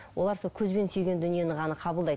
олар сол көзбен сүйген дүниені ғана қабылдайды